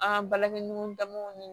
An ka balaniw damuw ni